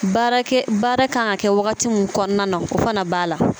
Baarakɛ baara kan ka kɛ wagati min kɔnɔna na o fana b'a la.